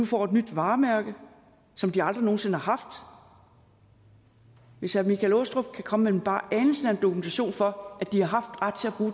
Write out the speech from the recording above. får et nyt varemærke som de aldrig nogen sinde har haft hvis herre michael aastrup jensen kan komme med bare anelsen af en dokumentation for at de har haft ret til at